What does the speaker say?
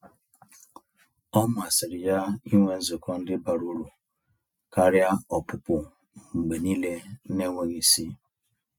Ọ masịrị ya ịnwe nzukọ ndị bara ụrụ karịa ọpụpụ mgbe niile n'enweghị isi.